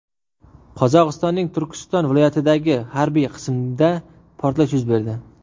Qozog‘istonning Turkiston viloyatidagi harbiy qismda portlash yuz berdi .